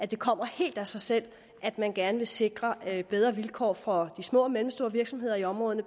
det kommer helt af sig selv at man gerne vil sikre bedre vilkår for de små og mellemstore virksomheder i områderne